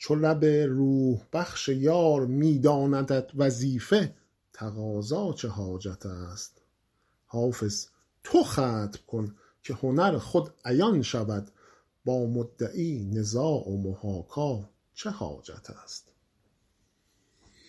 ای عاشق گدا چو لب روح بخش یار می داندت وظیفه تقاضا چه حاجت است حافظ تو ختم کن که هنر خود عیان شود با مدعی نزاع و محاکا چه حاجت است